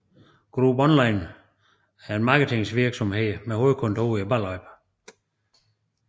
Group Online er en marketingvirksomhed med hovedkontor i Ballerup